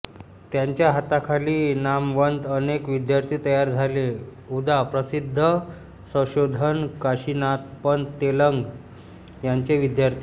त्यांच्या हाताखाली नामवंत अनेक विद्यार्थी तयार झाले उदा प्रसिद्ध संशोधन काशिनाथपंत तेलंग यांचेच विद्यार्थी